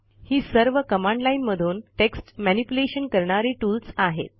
ही सर्व command line मधून text manipulation करणारी टूल्स आहेत